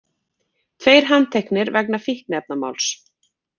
Tveir handteknir vegna fíkniefnamáls